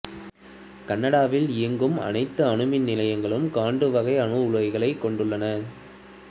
கனடாவில் இயங்கும் அனைத்து அணு மின் நிலையங்களும் காண்டு வகை அணு உலைகளைக் கொண்டுள்ளன